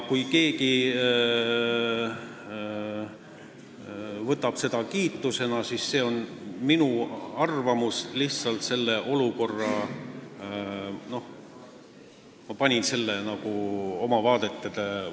Keegi võib seda võtta kiitusena, aga see on lihtsalt minu arvamus olukorra kohta, mille ma panin paika vastavalt oma vaadetele.